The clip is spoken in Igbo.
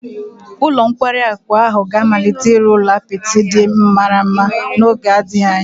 Ụlọ nkwari akụ ahụ ga-amalite ịrụ ụlọ apịtị ndị mara mma n'oge adịghị anya